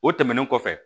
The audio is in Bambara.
O tɛmɛnen kɔfɛ